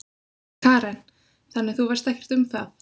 Karen: Þannig, þú veist ekkert um það?